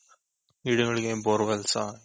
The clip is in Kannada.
ಗಿಡಗಳಿಗೆ borewellಸ ?